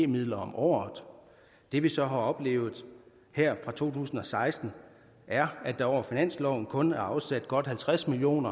midler om året det vi så har oplevet her fra to tusind og seksten er at der over finansloven kun er afsat godt halvtreds million